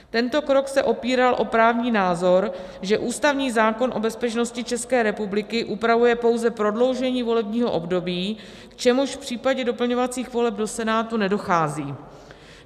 Tento krok se opíral o právní názor, že ústavní zákon o bezpečnosti České republiky upravuje pouze prodloužení volebního období, k čemuž v případě doplňovacích voleb do Senátu nedochází.